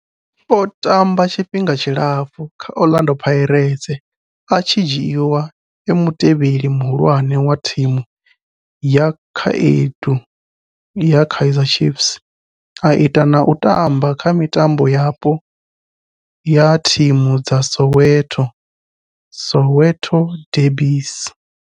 O tamba tshifhinga tshilapfhu kha Orlando Pirates, a tshi dzhiiwa e mutevheli muhulwane wa thimu ya vhakhaedu ya Kaizer Chiefs, a ita na u tamba kha mitambo yapo ya thimu dza Soweto, Soweto derbies.